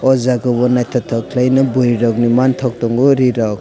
o jaga o naitotok kailai nei boroi ni mantok tango ri rok.